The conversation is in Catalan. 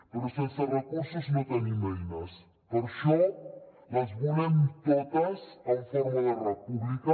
però sense recursos no tenim eines per això les volem totes en forma de república